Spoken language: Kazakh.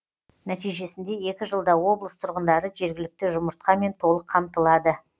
нәтижесінде екі жылда облыс тұрғындары жергілікті жұмыртқамен толық қамтылады